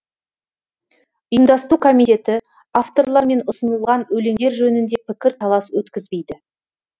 ұйымдастыру комитеті авторлармен ұсынылған өлеңдер жөнінде пікір талас өткізбейді